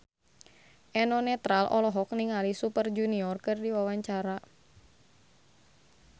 Eno Netral olohok ningali Super Junior keur diwawancara